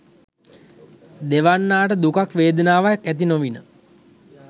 දෙවැන්නාට දුකක් වේදනාවක් ඇති නොවිණි.